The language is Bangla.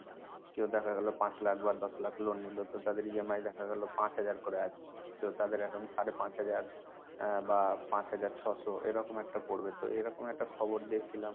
কেউ দেখা গেল পাঁচ লাখ বা দশ লাখ loan নিল, তো তাদের EMI দেখা গেল পাঁচ হাজার করে আছে। তো তাদের এখন সাড়ে পাঁচ হাজার আহ বা পাঁচ হাজার ছশো এরকম একটা পড়বে। তো এরকম একটা খবর দেখছিলাম।